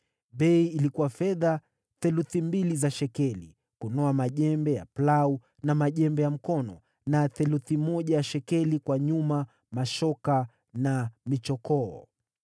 Bei ilikuwa fedha theluthi mbili za shekeli kunoa majembe ya plau na majembe ya mkono, na theluthi moja ya shekeli kwa nyuma, mashoka na michokoo.